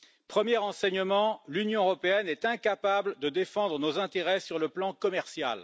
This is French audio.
Premièrement, l'Union européenne est incapable de défendre nos intérêts sur le plan commercial.